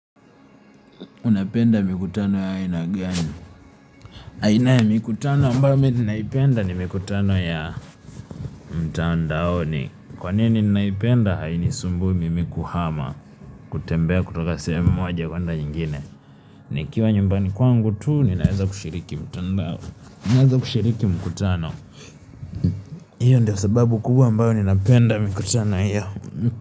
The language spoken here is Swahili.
Unapenda mikutano ya aina gani. Aina ya mikutano ambayo mm naipenda na mikutano ya mtandaoni. Kwa nini ninaipenda haini sumbu mimi kuhama. Kutembea kutoka sehemu moja kuenda ingine. Nikiwa nyumbani kwangu tu, nina azza kushiriki mtandao. Ninaanza kushiriki mkutano. Iyo ndio sababu kubwa ambao nina penda mikutano hiyo.